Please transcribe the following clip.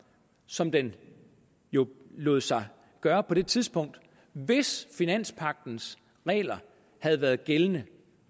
som den jo lod sig gøre på det tidspunkt hvis finanspagtens regler havde været gældende